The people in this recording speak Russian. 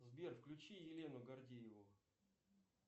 сбер включи елену гордееву